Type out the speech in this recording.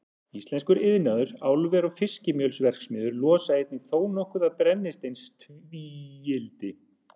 Íslenskur iðnaður, álver og fiskimjölsverksmiðjur losa einnig þónokkuð af brennisteinstvíildi.